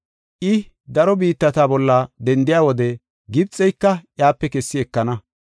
I daro biittata bolla dendiya wode, Gibxeyka iyape kessi ekenna.